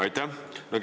Aitäh!